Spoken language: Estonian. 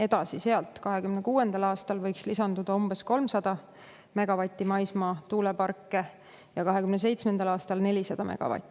Edasi võiks 2026. aastaks lisanduda umbes 300 megavati ulatuses maismaatuuleparke ja 2027. aastaks 400 megavati ulatuses.